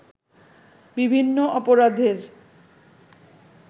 বিভিন্ন অপরাধের